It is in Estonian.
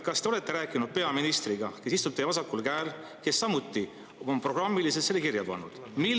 Kas te olete rääkinud peaministriga, kes istub teie vasakul käel ja kes samuti on programmiliselt selle kirja pannud?